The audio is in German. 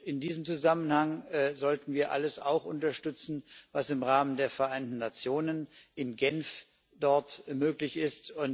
In diesem Zusammenhang sollten wir auch alles unterstützen, was im Rahmen der Vereinten Nationen in Genf möglich ist.